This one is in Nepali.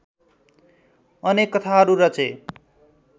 अनेक कथाहरू रचे